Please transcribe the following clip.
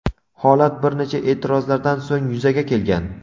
holat bir necha e’tirozlardan so‘ng yuzaga kelgan.